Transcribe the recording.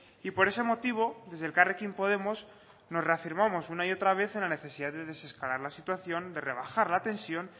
y por ese motivo desde elkarrekin podemos nos reafirmamos una y otra vez en la necesidad de desescalar la situación de rebajar la tensión